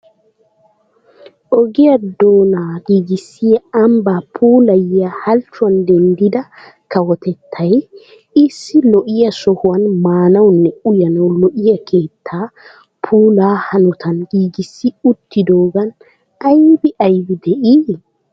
Ogiyaa doona giigissiyaa ambba puilayuwa halchcuwan denddida kawotettay, issi lo"iya sohuwan maanawunne uyyanaw lo"iyaa keetta puula hanotan giigissi uttidoogan aybbi aybbi de'ii?